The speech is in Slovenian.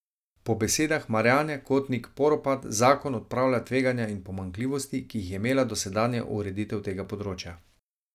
Po besedah Marjane Kotnik Poropat zakon odpravlja tveganja in pomanjkljivosti, ki jih je imela dosedanja ureditev tega področja.